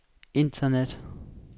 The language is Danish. internet